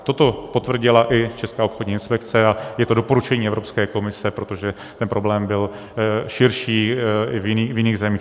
Toto potvrdila i Česká obchodní inspekce a je to doporučení Evropské komise, protože ten problém byl širší, i v jiných zemích.